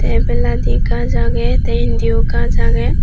te ebeladi gaj agey te indio gaj agey.